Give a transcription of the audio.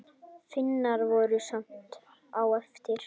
Finnar voru skammt á eftir.